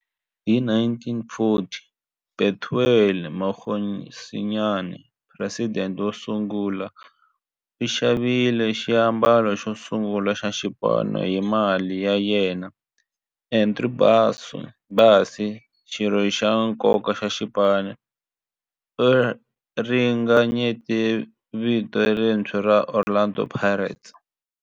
Hi 1940, Bethuel Mokgosinyane, president wosungula, u xavile xiambalo xosungula xa xipano hi mali ya yena. Andrew Bassie, xirho xa nkoka xa xipano, u ringanyete vito lerintshwa ra 'Orlando Pirates'.